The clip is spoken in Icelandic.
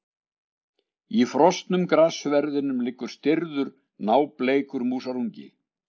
Í frosnum grassverðinum liggur stirður, nábleikur músarungi.